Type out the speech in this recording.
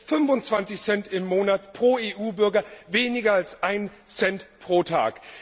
Das sind 25 Cent im Monat pro EU Bürger, weniger als 1 Cent pro Tag.